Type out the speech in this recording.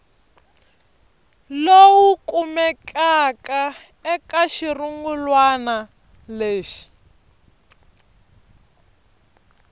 lowu kumekaka eka xirungulwana lexi